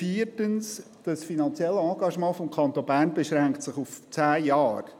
Viertens: Das finanzielle Engagement des Kantons Bern beschränkt sich auf zehn Jahre.